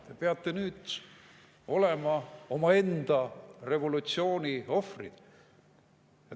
Te peate nüüd olema omaenda revolutsiooni ohvrid.